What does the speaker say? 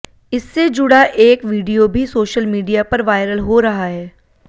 इससे जुड़ा एक वीडियो भी सोशल मीडिया पर वायरल हो रहा है